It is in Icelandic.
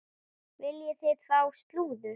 Viljið þið fá slúður?